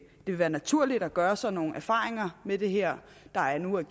vil være naturligt at gøre sig nogle erfaringer med det her der nu er